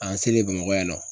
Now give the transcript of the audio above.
An selen bamakɔ yan nɔ